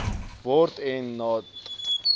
word en dat